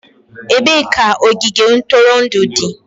Ebee ka ogige ntụrụndụ dị?